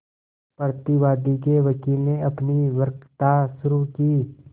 प्रतिवादी के वकील ने अपनी वक्तृता शुरु की